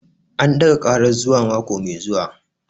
An ɗaga karar zuwa mako mai zuwa